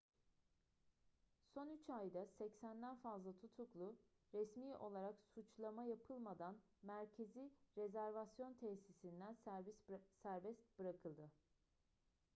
son 3 ayda 80'den fazla tutuklu resmi olarak suçlama yapılmadan merkezi rezervasyon tesisinden serbest bırakıldı